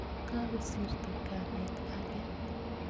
kakosirto kamet ake?